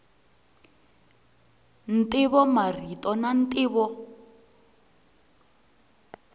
ntivo marito na ntivo